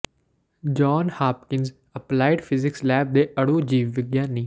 John Hopkins Applied Physics Lab ਦੇ ਅਣੂ ਜੀਵ ਵਿਗਿਆਨੀ ਡਾ